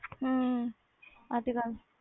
ਹਮ ਇਹ ਤੇ ਗੱਲ